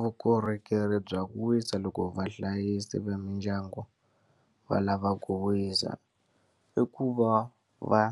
Vukorhokeri bya ku wisa loko vahlayisi va mindyangu va lava ku wisa, i ku va va